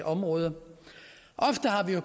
område ofte har vi jo